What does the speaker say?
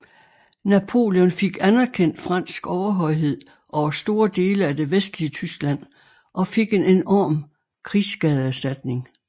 Napoleon fik anerkendt fransk overhøjhed over store dele af det vestlige Tyskland og fik en enorm krigsskadeerstatning